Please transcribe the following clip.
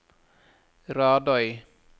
Radøy